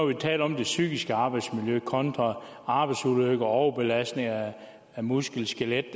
vi taler om det psykiske arbejdsmiljø kontra arbejdsulykker og overbelastning af muskler skelet